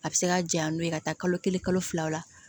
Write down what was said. A bɛ se ka jaɲa n'o ye ka taa kalo kelen kalo fila o la